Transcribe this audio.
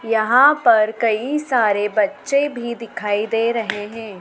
यहां पर कई सारे बच्चे भी दिखाई दे रहे हैं।